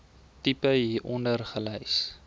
tipe hieronder gelys